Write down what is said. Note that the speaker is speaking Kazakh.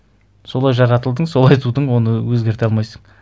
солай жаратылдың солай тудың оны өзгерте алмайсың